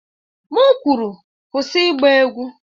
M kwuru, kwụsị ịgba egwu!